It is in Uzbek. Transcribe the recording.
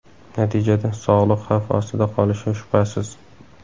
Natijada sog‘liq xavf ostida qolishi shubhasiz.